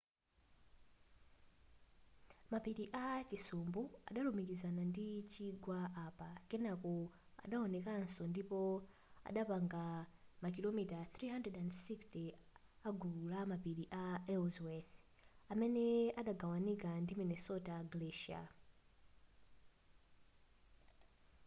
mapiri a chisumbu adalumikizana ndi chigwa apa kenako anaonekanso ndipo adapanga makilomita 360 agulu la mapiri a ellsworth amene anagawanika ndi minnesota glacier